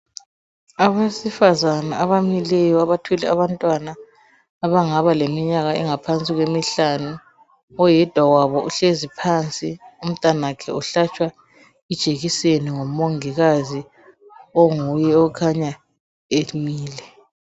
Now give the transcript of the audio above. Abesifazana abamileyo abathwele abantwana abangaba leminyaka engaphansi kwemihlanu oyedwa wabo uhlezi phansi umntanakhe uhlatshwa ijekiseni ngumongikazi onguye okhanya emile.